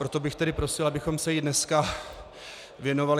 Proto bych tedy prosil, abychom se jí dneska věnovali.